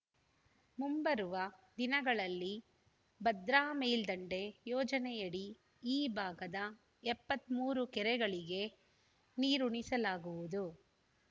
ಮುಂಬರುವ ದಿನಗಳಲ್ಲಿ ಭದ್ರಾ ಮೇಲ್ದಂಡೆ ಯೋಜನೆಯಡಿ ಈ ಭಾಗದ ಎಪ್ಪತ್ತ್ ಮೂರು ಕೆರೆಗಳಿಗೆ ನೀರುಣಿಸಲಾಗುವುದು